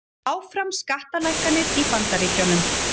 Áfram skattalækkanir í Bandaríkjunum